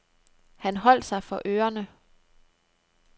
Han holdt sig for ørerne.